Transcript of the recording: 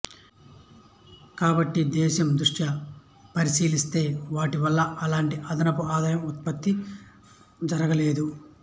కాబట్టి దేశం దృష్ట్యా పరిశీలిస్తే వాటి వల్ల ఎలాంటి అదనపు ఆదాయం ఉత్పత్తి జర్గలేదు